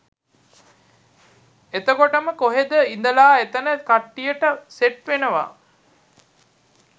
එතකොටම කොහේද ඉඳලා එතන කට්ටියට සෙට් වෙනවා